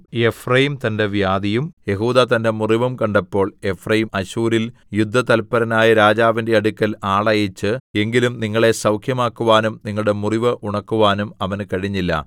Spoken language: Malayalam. എഫ്രയീം തന്റെ വ്യാധിയും യെഹൂദാ തന്റെ മുറിവും കണ്ടപ്പോൾ എഫ്രയീം അശ്ശൂരിൽ യുദ്ധതല്പരനായ രാജാവിന്റെ അടുക്കൽ ആളയച്ച് എങ്കിലും നിങ്ങളെ സൗഖ്യമാക്കുവാനും നിങ്ങളുടെ മുറിവ് ഉണക്കുവാനും അവന് കഴിഞ്ഞില്ല